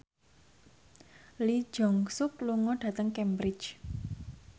Lee Jeong Suk lunga dhateng Cambridge